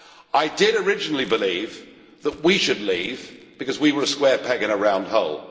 I did originally believe that we should leave because we were a square peg in a round hole.